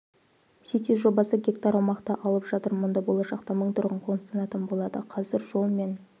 сити жобасы гектар аумақты алып жатыр мұнда болашақта мың тұрғын қоныстанатын болады қазір жол мен